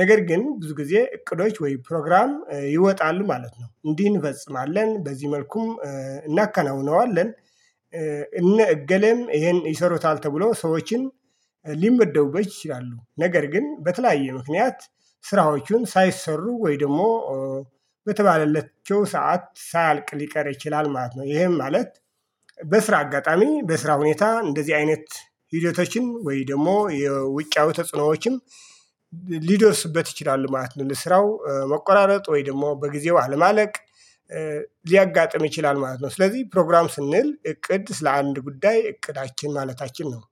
ነገር ግን ብዙ ጊዜ እቅዶች ወይ ፕሮግራም ይወጣሉ ማለት ነው። እንዲህ እንፈጽማለን በዚህ መልኩም እናከናውነዋለን። እነ እገሌም ይሄን ይሰሩታል ተብሎ ሰዎችም ሊመደቡበት ይችላሉ። ነገር ግን በተለያየ ምክንያት ስራዎቹን ሳይሰሩ ወይ ደግሞ በተባለለችው ሰዓት ሳያልቅ ሊቀር ይችላል ማለት ነው። ይሄም ማለት በስራ አጋጣሚ በስራ ሁኔታ እንደዚህ አይነት ሂደቶችን ወይ ደግሞ የውጫዊ ተጽዕኖዎችን ሊደርስበት ይችላል። ማለት ለ ስራው መቆራረጥ ወይ ደግሞ በጊዜው አለማለቅ ሊያጋጥም ይችላል ማለት ነው። ስለዚህ ፕሮግራም ስንል እቅድ ስለ አንድ ጉዳይ እቅዳችን ማለታችን ነው